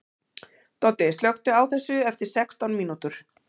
Doddi, slökktu á þessu eftir sextán mínútur.